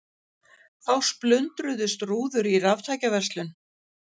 Þá splundruðust rúður í raftækjaverslun